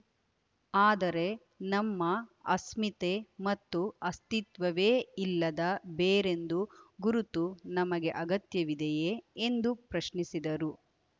ಆದರೆ ನಮ್ಮ ಅಸ್ಮಿತೆ ಮತ್ತು ಅಸ್ತಿತ್ವವೇ ಇಲ್ಲದ ಬೇರೆಂದು ಗುರುತು ನಮಗೆ ಅಗತ್ಯವಿದೆಯೇ ಎಂದು ಪ್ರಶ್ನಿಸಿದರು